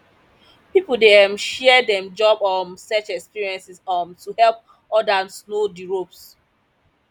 pipo dey um share dem job um search experiences um to help others know di ropes